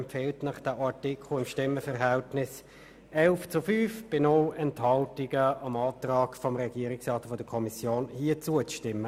Im Stimmenverhältnis von 11 zu 5 bei 0 Enthaltungen empfiehlt sie Ihnen, bei diesem Artikel dem Antrag der Kommission und des Regierungsrats zuzustimmen.